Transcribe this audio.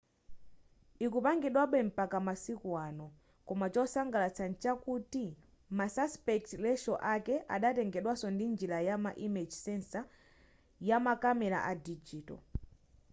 ikupangidwabe mpaka masiku ano koma chotsangalatsa mchakuti ma aspect ratio ake adatengedwaso ndi njira ya image sensor yamakamera a digital